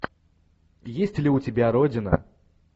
есть ли у тебя родина